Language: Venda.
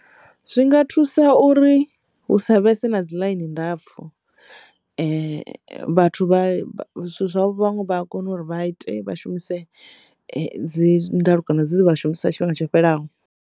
Zwinga thusa uri hu sa vhese na dzi ḽaini ndapfu vhathu vhane vha kona uri vha ite vha shumise dzi ndalukanyo dzi shumisa tshifhinga tsho fhelaho.